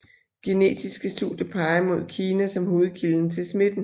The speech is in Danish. Genetiske studier peger mod Kina som hovedkilden til smitten